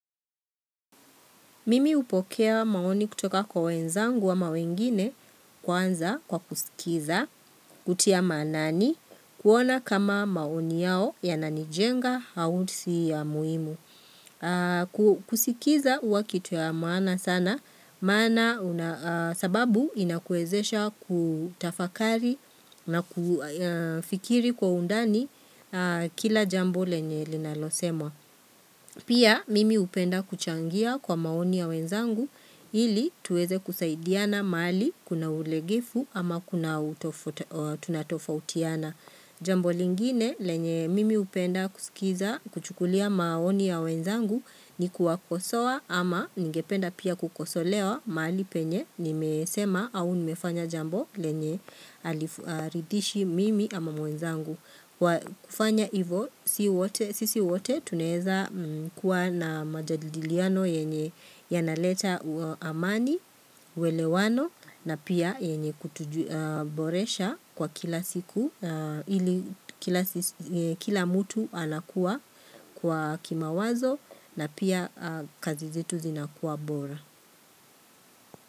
Mimi hupokea maoni kutoka kwa wenzangu ama wengine kwanza kwa kusikiza, kutia maanani, kuona kama maoni yao yananijenga au si ya muhimu. Kusikiza huwa kitu ya maana sana, sababu inakuwezesha kutafakari na kufikiri kwa undani kila jambo lenye linalosemwa. Pia mimi hupenda kuchangia kwa maoni ya wenzangu ili tuweze kusaidiana mahali kuna ulegevu ama kuna tunatofautiana. Jambo lingine lenye mimi hupenda kusikiza kuchukulia maoni ya wenzangu ni kuwakosoa ama ningependa pia kukosolewa mahali penye nimesema au nimefanya jambo lenye haliridhishi mimi ama mwenzangu. Kufanya ivo sisi wote tunaeza kuwa na majadiliano yenye yanaleta amani, uwelewano na pia yenye kutuboresha kwa kila siku ili kila mtu anakuwa kwa kimawazo na pia kazi zetu zinakuwa bora.